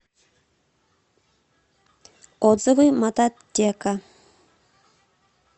отзывы мототека